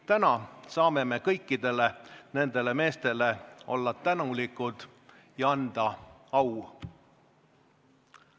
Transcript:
Täna saame kõikidele nendele meestele tänulikud olla ja neile au anda.